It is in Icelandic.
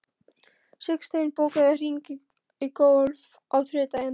Sigsteinn, bókaðu hring í golf á þriðjudaginn.